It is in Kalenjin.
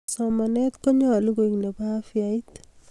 somanee konyoluu koek nebo afyait